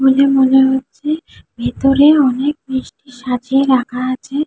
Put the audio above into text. বলে মনে হচ্ছে ভেতরে অনেক মিষ্টি সাজিয়ে রাখা আছে।